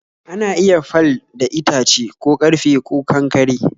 ana iya fal da itace ,ko karfe ko, Kankare